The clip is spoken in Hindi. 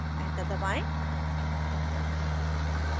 enter दबाएं